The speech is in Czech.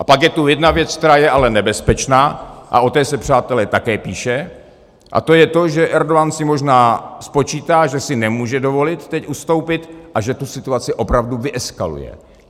A pak je tu jedna věc, která je ale nebezpečná, a o té se, přátelé, také píše, a to je to, že Erdogan si možná spočítá, že si nemůže dovolit teď ustoupit a že tu situaci opravdu vyeskaluje.